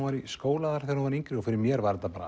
var í skóla þar þegar hún var yngri og fyrir mér var þetta